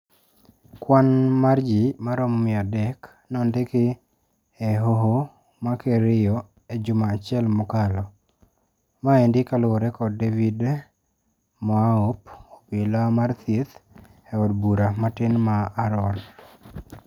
Kwan mar ji maromo mia adek nondiki e hoho ma Kerio e juma achiel mokalo. Maendi kalure kod David Moaop, obila mar thieth e od bura matin mar Arror.